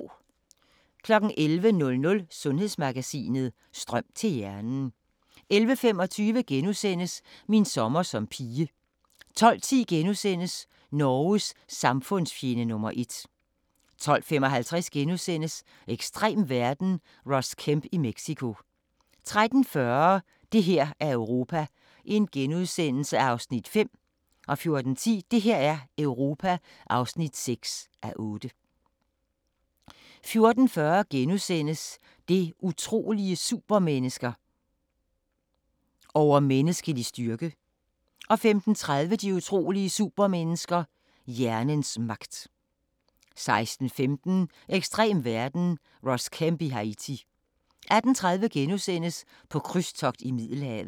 11:00: Sundhedsmagasinet: Strøm til hjernen 11:25: Min sommer som pige * 12:10: Norges samfundsfjende nr. 1 * 12:55: Ekstrem verden - Ross Kemp i Mexico * 13:40: Det her er Europa (5:8)* 14:10: Det her er Europa (6:8) 14:40: De utrolige supermennesker - Overmenneskelig styrke * 15:30: De utrolige supermennesker – hjernens magt 16:15: Ekstrem verden – Ross Kemp i Haiti 18:30: På krydstogt i Middelhavet *